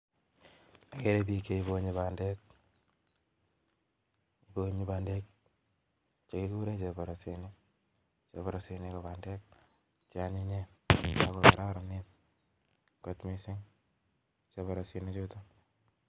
Ageere bik chebonye bandek, ibonye bandek chekikuren chepolosinik, chepolosinik ko bandek cheonyinyen ako kororonen